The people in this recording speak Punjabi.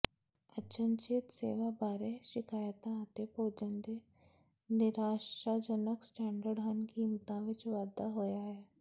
ਅਚਨਚੇਤ ਸੇਵਾ ਬਾਰੇ ਸ਼ਿਕਾਇਤਾਂ ਅਤੇ ਭੋਜਨ ਦੇ ਨਿਰਾਸ਼ਾਜਨਕ ਸਟੈਂਡਰਡ ਹਨ ਕੀਮਤਾਂ ਵਿੱਚ ਵਾਧਾ ਹੋਇਆ ਹੈ